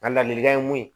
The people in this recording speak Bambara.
Nka ladilikan ye mun ye